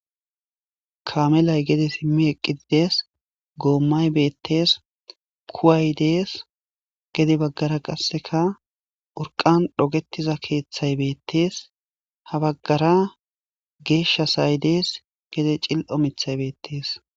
kaamelay gede simmi eqqiidees goommay beettes kuway dees gede baggara qasseka urqan dhogetiza keeththay beettees ha baggara geeshshasay dees gede cil7o mithay beettees